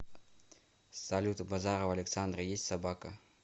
салют у базарова александра есть собака